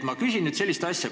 Ma küsin nüüd sellist asja.